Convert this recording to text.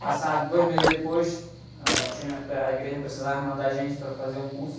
Passados dois meses depois, ah, uh, tinha, a igreja precisava mandar gente para fazer um curso.